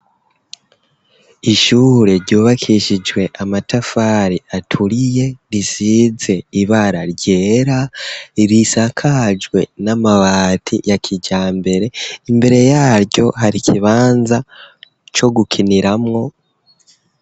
Ishure ryubakishijwe amatafari aturiye risize ibara ryera, risakajwe n'amabati ya kijambere, imbere yaryo hari ikibanza co gukiniramwo.